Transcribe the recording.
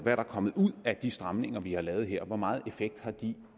er der kommet ud af de stramninger vi har lavet her hvor meget effekt har de